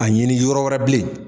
A ɲini yɔrɔ wɛrɛ bilen.